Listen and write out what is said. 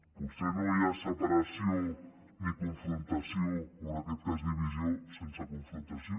potser no hi ha separació ni confrontació o en aquest cas divisió sense confrontació